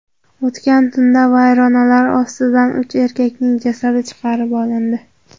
O‘tgan tunda vayronalar ostidan uch erkakning jasadi chiqarib olindi.